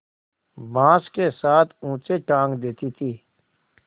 बाँस के साथ ऊँचे टाँग देती थी